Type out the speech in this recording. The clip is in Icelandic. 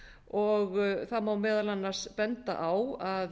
og það má meðal annars benda á að